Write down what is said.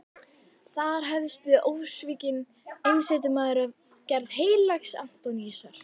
Þar hefst við ósvikinn einsetumaður af gerð heilags Antóníusar.